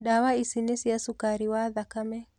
Ndawa ici nĩ cia cukari wa thakame.